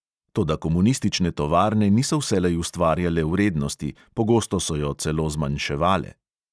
Toda komunistične tovarne niso vselej ustvarjale vrednosti, pogosto so jo celo zmanjševale.